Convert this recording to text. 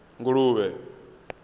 nguluvhe